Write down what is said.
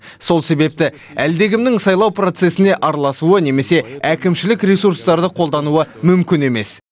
сол себепті әлдекімнің сайлау процессіне араласуы немесе әкімшілік ресуртарды қолдануы мүмкін емес